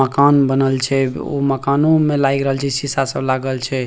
माकन बनल छे उ मकानों में लायग रहल छे सीसा सब लागल छे।